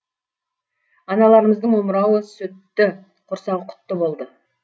аналарымыздың омырауы сүтті құрсағы құтты болды